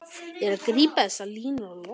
Ég gríp þessar línur á lofti.